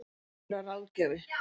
Hann mun vera ráðgjafi